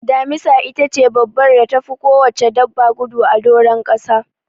Damisa itace dabbar da tafi kowacce dabba gudu a doron kasa.